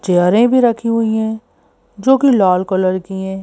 चेयरें भी रखी हुई हैं जो कि लाल कलर की है।